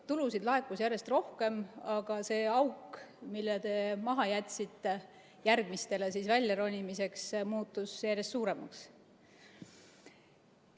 Tulusid laekus järjest rohkem, aga see auk, mille te maha jätsite ja kust järgmised peavad välja ronima, muutus järjest suuremaks.